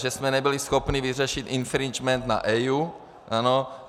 Že jsme nebyli schopni vyřešit infringement na EIA.